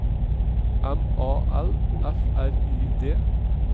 M A L F R I D